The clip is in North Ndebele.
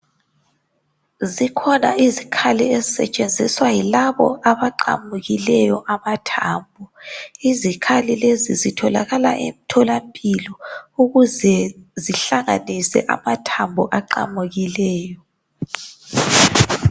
Zikhona izikhali ezisetshenziswa yilabo abaqamukileyo amathambo. Izikhali lezi zitholakala emtholampilo ukuze zihlanganise amathambo aqamukileyo.